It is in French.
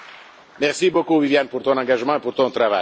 Merci beaucoup, Viviane, pour ton engagement et pour ton travail.